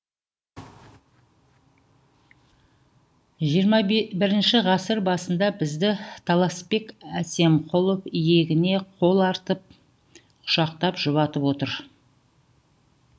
жиырма біпінші ғасыр басында бізді таласбек әсемқұлов иегіңе қол артып құшақтап жұбатып отыр